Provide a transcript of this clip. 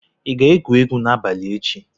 ị ga-egwu egwu n'abalị echi?